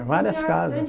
Várias casas.